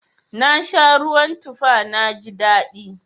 Na sha ruwan tufa na ji daɗi.